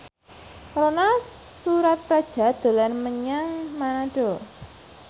Ronal Surapradja dolan menyang Manado